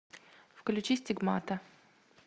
включи стигмата